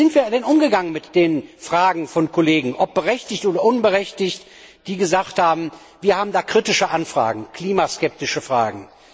Wie sind wir denn umgegangen mit den Fragen von Kollegen, ob berechtigt oder unberechtigt, die gesagt haben Wir haben kritische Anfragen, klimaskeptische Fragen?